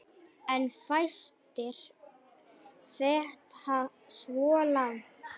En fæstir feta svo langt.